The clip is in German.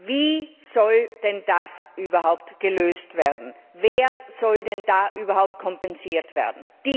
Wie soll denn das überhaupt gelöst werden? Wer soll denn überhaupt kompensiert werden?